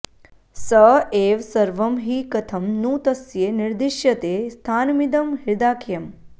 स एव सर्वं हि कथं नु तस्य निर्दिश्यते स्थानमिदं हृदाख्यम्